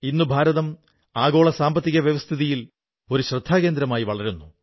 ഇന്ന് ഭാരതം ആഗോള സാമ്പത്തിക വ്യവസ്ഥിതിയിൽ ഒരു ശ്രദ്ധേയകേന്ദ്രമായി വളരുന്നു